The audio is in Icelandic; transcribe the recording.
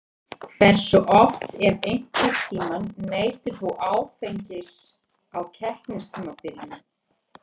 Hversu oft ef einhvern tíman neytir þú áfengis á keppnistímabilinu?